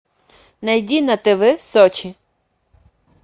найди на тв сочи